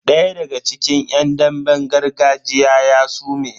Daya daga cikin yan damben gargajiyan ya sume.